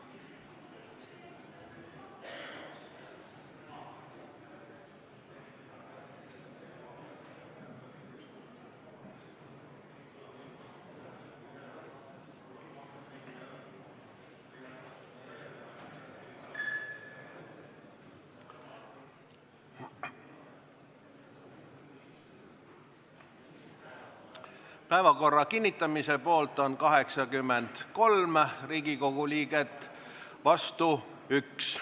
Hääletustulemused Päevakorra kinnitamise poolt on 83 Riigikogu liiget, vastu 1.